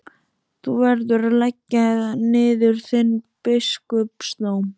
Þú verður að leggja niður þinn biskupsdóm!